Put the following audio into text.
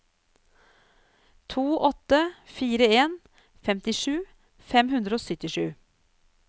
to åtte fire en femtisju fem hundre og syttisju